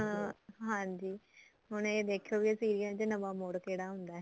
ਹਾਂਜੀ ਹੁਣ ਇਹ ਦਿਖਿਉ ਵੀ serial ਚ ਨਵਾ ਮੋੜ ਕਿਹੜਾ ਆਉਂਦਾ